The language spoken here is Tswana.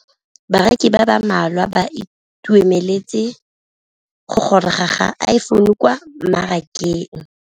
Bareki ba ba malwa ba ituemeletse go gôrôga ga Iphone6 kwa mmarakeng.